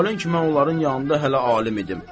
Məhalin kimi mən onların yanında hələ alim idim.